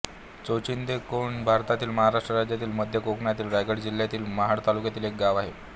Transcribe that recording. चोचिंदे कोंड हे भारतातील महाराष्ट्र राज्यातील मध्य कोकणातील रायगड जिल्ह्यातील महाड तालुक्यातील एक गाव आहे